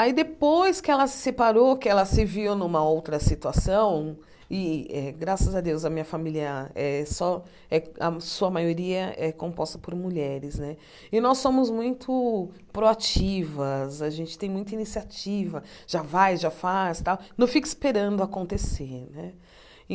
Aí depois que ela se separou, que ela se viu numa outra situação, e eh graças a Deus a minha família é só, eh a sua maioria é composta por mulheres né, e nós somos muito proativas, a gente tem muita iniciativa, já vai, já faz tal, não fica esperando acontecer.